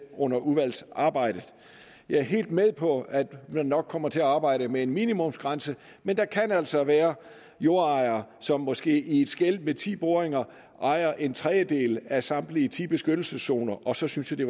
under udvalgsarbejdet jeg er helt med på at man nok kommer til at arbejde med en minimumsgrænse men der kan altså være jordejere som måske i et skel med ti boringer ejer en tredjedel af samtlige ti beskyttelseszoner og så synes jeg det